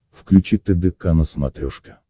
включи тдк на смотрешке